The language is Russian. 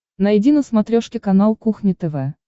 найди на смотрешке канал кухня тв